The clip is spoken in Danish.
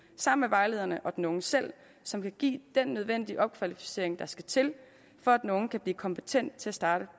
sammen med vejlederne og den unge selv som kan give den nødvendige opkvalificering der skal til for at den unge kan blive kompetent til at starte